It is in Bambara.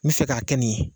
N bɛ fɛ k'a kɛ nin ye